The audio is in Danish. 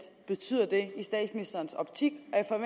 betyder det i statsministerens optik